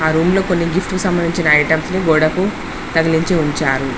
ఆ రూమ్ లో కొన్ని గిఫ్ట్ కి సంబంధించిన ఐటమ్స్ ని గోడకు తగిలించి ఉంచారు.